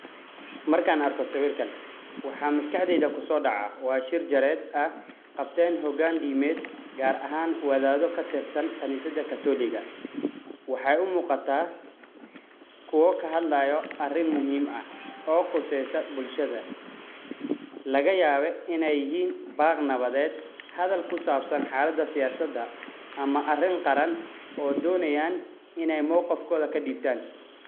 markaan arko sawirkan, waxa maskaxdeyda ku soo dhacaa waa shir jaraaided ah qabteen hogaan dimeed gaar ahaan wadaado ka tirsan qanisada catholic ga , waxeey u muqataa kuwo ka hadlaayo arin muhiim ah oo quseya bulshada, lagayaabe inay yihiin baaq nabadeed hadal kusaabsan xaalada siyaasada ama arin qaran oo donayaan inay mooqifkooda ka dhibtaan.